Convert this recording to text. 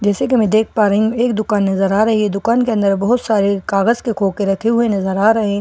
जैसे कि मैं देख पा रही हूं एक दुकान नजर आ रही है दुकान के अंदर बहुत सारे कागज के कोखे रखे हुए नजर आ रहे हैं और --